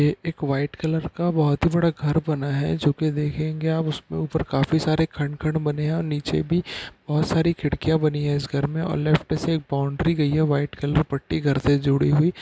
ये एक white colour का बहुत ही बड़ा घर बना है। जो कि देखेंगे आप उसके ऊपर काफी सारे खंड खंड बने है और निचे भी बहुत सारी खिड़किया बनी है। इस घर में और लेफ्ट से बाउंड्री गई है। व्हाइट कलर की पट्टी घर से जुड़ी हुई--